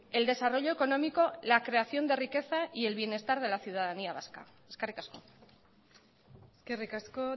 el desarrollo económico la creación de riqueza y el bienestar de la ciudadanía vasca eskerrik asko eskerrik asko